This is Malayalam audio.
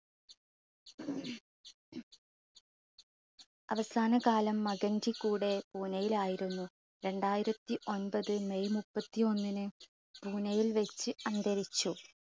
അവസാനകാലം മകൻറെ കൂടെ പൂനെയിൽ ആയിരുന്നു. രണ്ടായിരത്തി ഒൻപത് may മുപ്പത്തിഒന്നിന് പൂനെയിൽ വച്ച് അന്തരിച്ചു.